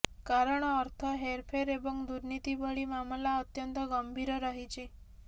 କାରଣ ଅର୍ଥ ହେରଫେର ଏବଂ ଦୁର୍ନୀତି ଭଳି ମାମଲା ଅତ୍ୟନ୍ତ ଗମ୍ଭୀର ରହିଛି